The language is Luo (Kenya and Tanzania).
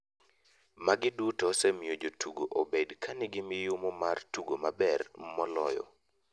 Magi duto osemiyo jotugo obedo ka ni gi miyumo mar tugo maber moloyo.